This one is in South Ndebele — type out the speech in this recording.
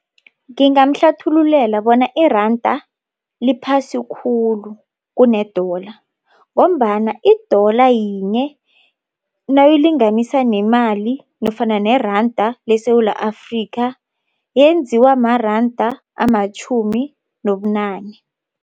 Ngingamhlathululela bona iranda liphasi khulu kune-dollar ngombana i-dollar yinye nawuyilinganisa nemali nofana neranda leSewula Afrika yenziwa maranda amatjhumi nobunane.